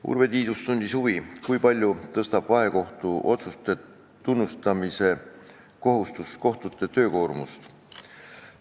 Urve Tiidus tundis huvi, kui palju tõstab vahekohtuotsuse tunnustamise kohustus kohtute töökoormust.